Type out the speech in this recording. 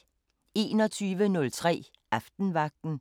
21:03: Aftenvagten